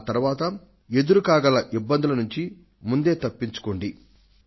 ఆ తరువాత ఎదురుకాగల ఇబ్బందుల నుంచి ముందే తప్పించుకోండి